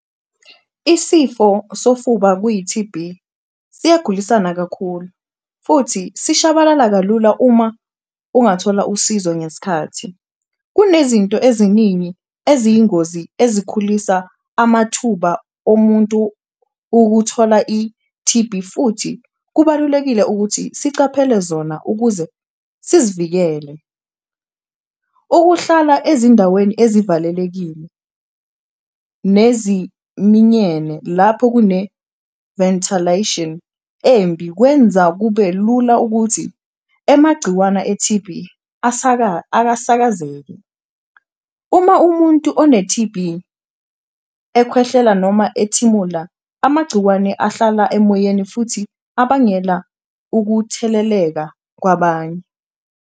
Isifo sofuba kuyi-T_B siyagulisana kakhulu futhi sishabalala kalula uma ungathola usizo ngeskhathi, kunezinto eziningi eziyingozi ezikhulisa amathuba omuntu ukuthola i-T_B futhi kubalulekile ukuthi sicaphele zona ukuze sizivikele. Ukuhlala ezindaweni ezivalelekile neziminyene lapho kune-ventelation embi, kwenza kube lula ukuthi emagciwana e-T_B akasakazeke, uma umuntu one-T_B ekhwehlela noma ethimula amagciwane ahlala emoyeni futhi abangela ukutheleleka kwabanye.